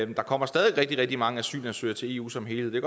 der kommer stadig rigtig rigtig mange asylansøgere til eu som helhed det